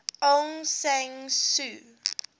aung san suu